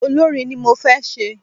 Olórin ni mo fé ṣe